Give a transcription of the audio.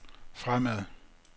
fremad